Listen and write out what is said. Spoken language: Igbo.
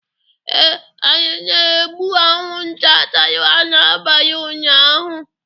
Ee, anyị na-egbu anwụnta tara anyị n'abalị ụnyaahụ.